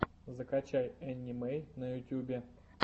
закачай энни мэй на ютьюбе